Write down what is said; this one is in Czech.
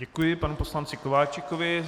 Děkuji panu poslanci Kováčikovi.